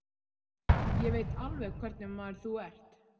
Ég veit alveg hvernig maður þú ert.